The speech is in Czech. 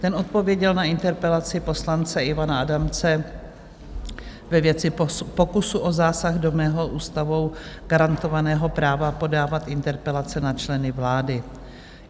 Ten odpověděl na interpelaci poslance Ivana Adamce ve věci pokusu o zásah do ústavou garantovaného práva podávat interpelace na členy vlády.